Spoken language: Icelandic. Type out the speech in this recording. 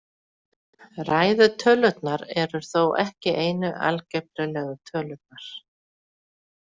Ræðu tölurnar eru þó ekki einu algebrulegu tölurnar.